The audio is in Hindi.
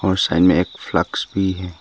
और साइड में एक फ्लक्स भी है।